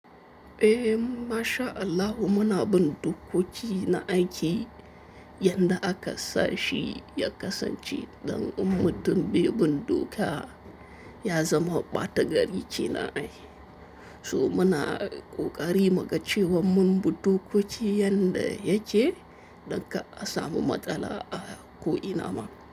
Eh, masha Allau muna bun dokoki na aiki. Yanda aka sa shi ya kasance don in mututun bebin doka ya zama ɓata gari kenan ai. To muna ƙoƙari muga cewan mun bi dokoki yanda yake don ka asamu matsala a ko ina ma.